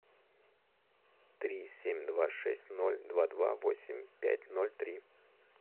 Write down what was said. три семь два шесть ноль два два восемь пять ноль три